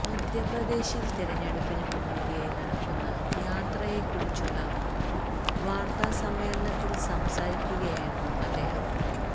മധ്യപ്രദേശില് തിരഞ്ഞൈടുപ്പിന് മുന്നോടിയായി നടക്കുന്ന യാത്രയെ കുറിച്ചുള്ള വാര്ത്താസമ്മേളനത്തില് സംസാരിക്കുകയായിരുന്നു അദ്ദേഹം